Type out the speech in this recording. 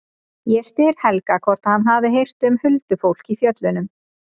Ég spyr Helga hvort hann hafi heyrt um huldufólk í fjöllunum.